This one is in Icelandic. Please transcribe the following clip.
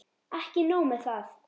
Ekki nóg með það.